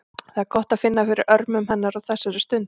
Það er gott að finna fyrir örmum hennar á þessari stundu.